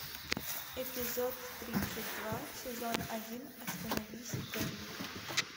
эпизод тридцать два сезон один остановись и гори